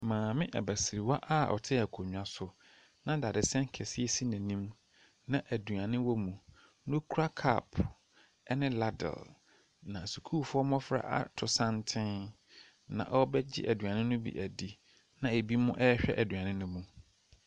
Maame abasiriwa a ɔte akonnwa so na dadesɛn kɛseɛ si n'anim na adeane wɔ mu na ɔkura cup ne ladle. Na sukuufoɔ mmɔfra ato santene na wɔrebɛgye aduane no bi adi, ɛna binom rehwɛ aduane no mu.